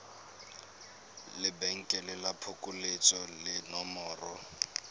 lebenkele la phokoletso le nomoro